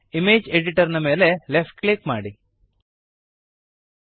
image editor ನ ಮೇಲೆ left click ಮಾಡಿರಿ